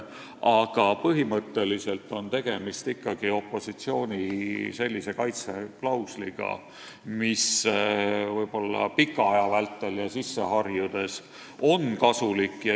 Aga põhimõtteliselt on tegemist ikkagi opositsiooni kaitse klausliga, mis võib-olla pikema aja möödudes, kui sellega ollakse harjunud, on kasulik.